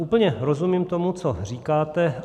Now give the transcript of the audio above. Úplně rozumím tomu, co říkáte.